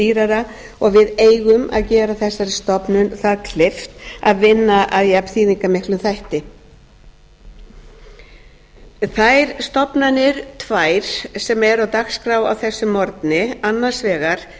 dýrara og við eigum að gera þessari stofnun það kleift að vinna að jafn þýðingarmiklum þætti þær stofnanir tvær sem eru á dagskrá á þessum morgni annars vegar